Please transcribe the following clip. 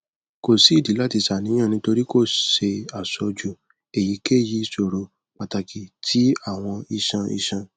ko si idi lati ṣàníyàn nitori ko ṣe aṣoju eyikeyi iṣoro pataki ti awọn iṣan iṣan